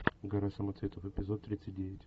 гора самоцветов эпизод тридцать девять